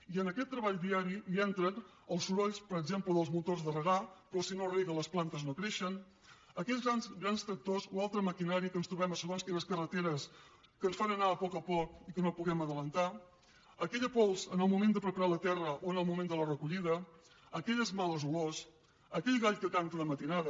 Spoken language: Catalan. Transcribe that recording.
i en aquest treball diari hi entren els sorolls per exemple dels motors de regar però si no es reguen les plantes no creixen aquells grans tractors o altra maquinària que ens trobem a segons quines carreteres que ens fan anar a poc a poc i que no puguem avançar aquella pols en el moment de preparar la terra o en el moment de la recollida aquelles males olors aquell gall que canta de matinada